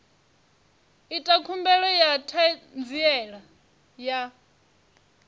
ita khumbelo ya ṱhanziela ya